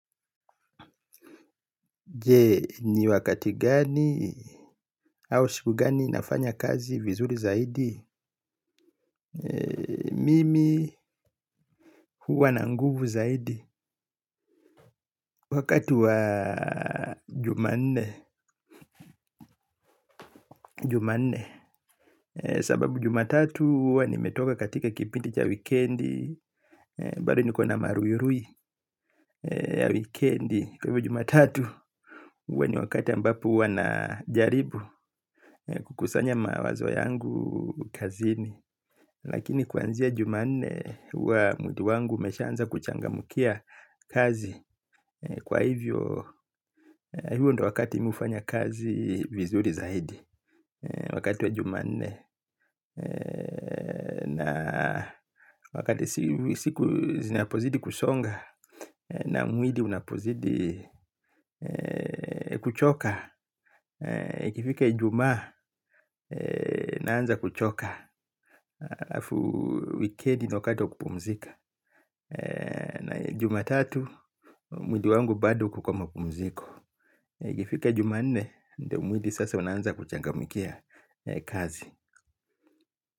Je ni wakati gani au siku gani inafanya kazi vizuri zaidi. Mimi huwa na nguvu zaidi. Wakati wa Jumanne. Jumanne. Sababu jumatatu huwa nimetoka katika kipindi cha wikendi bado nikona maruirui ya wikendi kwa hivyo jumatatu huwa ni wakati ambapo huwa na jaribu kukusanya mawazo yangu kazini. Lakini kwanzia Jumanne huwa mwili wangu umeshaanza kuchangamkia kazi. Kwa hivyo huo ndio wakati mi hufanya kazi vizuri zaidi. Wakati wa jumanne na wakati siku zinapozidi kusonga na mwili unapozidi kuchoka ifike ijumaa naanza kuchoka. Wikedi ni wakati wa kupumzika na jumatatu, mwili wangu bado uko kwa mapumziko ifike jumanne, ndio mwili sasa unaanza kuchangamkia kazi.